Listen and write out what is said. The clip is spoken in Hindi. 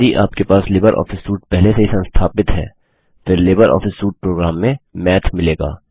यदि आपके पास लिबर ऑफिस सूट पहले से ही संस्थापित है फिर लिबर ऑफिस सूट प्रोग्राम्स में माथ मिलेगा